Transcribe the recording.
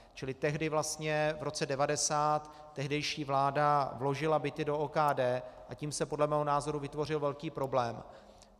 Čili tehdy vlastně v roce 1990 tehdejší vláda vložila byty do OKD, a tím se podle mého názoru vytvořil velký problém.